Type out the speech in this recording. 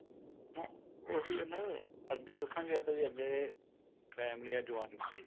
ਉਹੀ ਹੈ ਨਾ ਅੱਗੇ ਦੱਸਾਂ ਕਿਆ ਤਾ ਜੀ ਅੱਗੇ ਫੈਮਿਲੀਆਂ joint ਸੀ